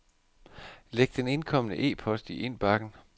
Læg den indkomne e-post i indbakken.